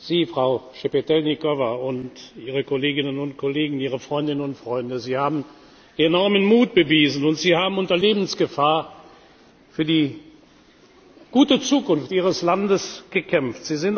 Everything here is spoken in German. Sie, Frau Schtschepetylnykowa, und Ihre Kolleginnen und Kollegen, Ihre Freundinnen und Freunde, haben enormen Mut beweisen, und Sie haben unter Lebensgefahr für die gute Zukunft Ihres Landes gekämpft.